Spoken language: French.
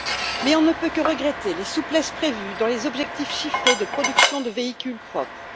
Mais on ne peut que regretter les souplesses prévues dans les objectifs chiffrés de production de véhicules propres.